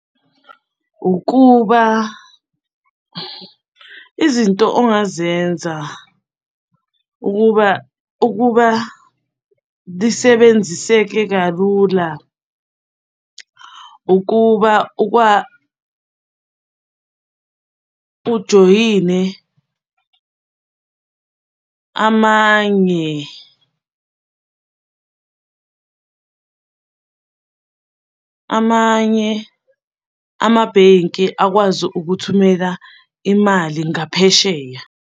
Ukuba izinto ongazenza ukuba ukuba lisebenziseke kalula, ukuba ujoyine amanye, amanye amabhenki akwazi ukuthumela imali ngaphesheya.